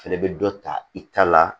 Fɛnɛ bɛ dɔ ta i ta la